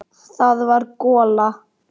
Það var gola.